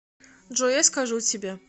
джой я скажу тебе